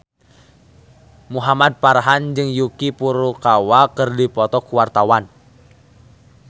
Muhamad Farhan jeung Yuki Furukawa keur dipoto ku wartawan